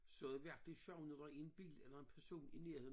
Så er det virkelig sjovt når der er en bil eller en person i nærheden